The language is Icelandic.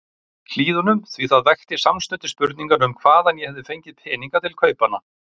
Hlíðunum, því það vekti samstundis spurninguna um hvaðan ég hefði fengið peninga til kaupanna.